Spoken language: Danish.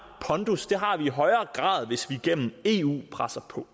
pondus det har vi i højere grad hvis vi gennem eu presser på